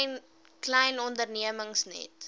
klein ondernemings net